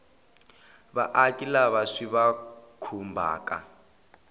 vaaki lava swi va khumbhaka